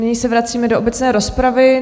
Nyní se vracíme do obecné rozpravy.